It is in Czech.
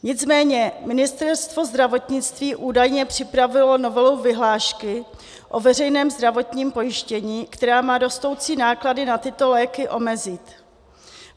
Nicméně Ministerstvo zdravotnictví údajně připravilo novelu vyhlášky o veřejném zdravotním pojištění, která má rostoucí náklady na tyto léky omezit.